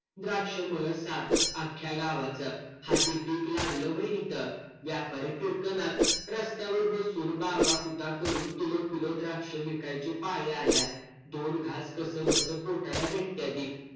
द्राक्षं मळं साफ अख्ख्या गावाचं. हाती पीक लागलं व्हय इथं. व्यापारी फिरकणात. रस्त्यावर बसून बाबा करून किलो किलो द्राक्षे इकायची पाळी आल्या. दोन घास कसंबसं पोटाला भेटत्याती.